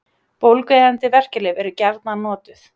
Bólgueyðandi verkjalyf eru gjarnan notuð.